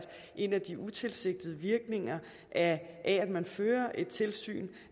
en af de utilsigtede virkninger af at man fører et tilsyn